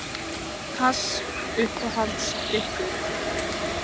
Pass Uppáhaldsdrykkur?